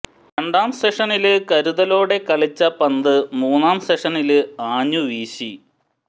രണ്ടാം സെഷനില് കരുതലോടെ കളിച്ച പന്ത് മൂന്നാം സെഷനില് ആഞ്ഞുവീശി